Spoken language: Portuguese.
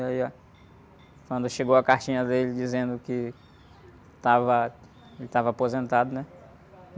E aí, ah, quando chegou a cartinha dele dizendo que estava, ele estava aposentado, né?